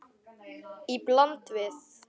Í bland við